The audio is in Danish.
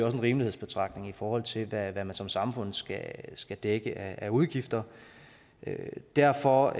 en rimelighedsbetragtning i forhold til hvad man som samfund skal skal dække af udgifter derfor